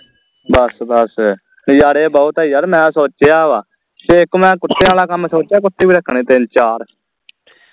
ਬਸ ਬਸ ਨਜਾਰੇ ਬਹੁੱਤ ਆ ਯਾਰ ਮੈਂ ਸੋਚਿਆ ਵਾ ਤੇ ਇਕ ਮੈਂ ਕੁਤਿਆਂ ਵਾਲਾ ਕੰਮ ਸੋਚਿਆ ਕੁੱਤੇ ਵੀ ਰੱਖਣੇ ਤਿੰਨ ਚਾਰ